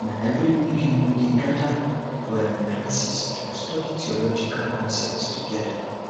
na every week um we dey gather for um classes to study theological concepts together